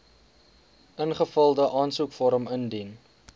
ingevulde aansoekvorm indien